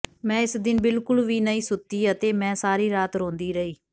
ਮੈਂ ਇਸ ਦਿਨ ਬਿਲਕੁਲ ਵੀ ਨਹੀਂ ਸੁੱਤੀ ਅਤੇ ਮੈਂ ਸਾਰੀ ਰਾਤ ਰੋਂਦੀ ਰਹੀ